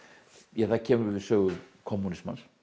ja það kemur við sögu kommúnismans